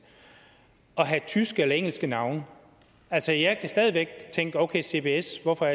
at have tyske eller engelske navne altså jeg kan stadig væk tænke at okay cbs hvorfor